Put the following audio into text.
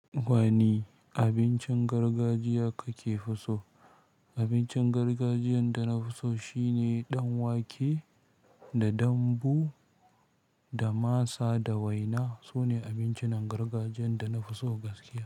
Wani abincin gargajiya kake fi so? Abincin gargajiyan da na so shine dan wake da dambu da masa da waina. Sune abincin gargajiyan da na so gaske.